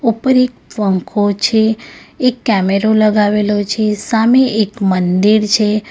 ઉપર એક પંખો છે એક કેમેરો લગાવેલો છે સામે એક મંદિર છે.